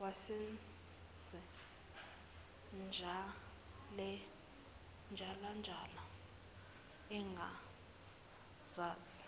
wayesentshalantsha engazazi